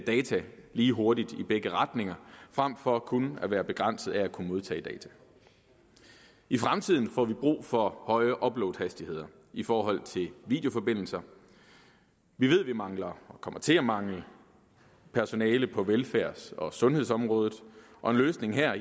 lige hurtigt i begge retninger frem for kun at være begrænset af at kunne modtage data i fremtiden får vi brug for høje uploadhastigheder i forhold til videoforbindelser vi ved vi mangler og kommer til at mangle personale på velfærds og sundhedsområdet og en løsning her